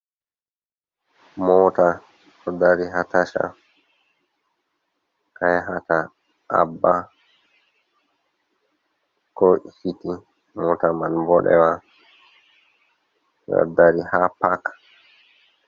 Mota ɗo dari ha tasha ka yahata abba ko ikiti, mota man boɗewa ɗo dari ha pak.